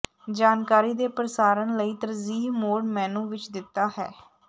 ਜਾਣਕਾਰੀ ਦੇ ਪ੍ਰਸਾਰਣ ਲਈ ਤਰਜੀਹ ਮੋਡ ਮੇਨੂ ਵਿੱਚ ਦਿੱਤਾ ਹੈ